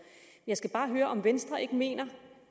jeg skal bare høre om venstre ikke mener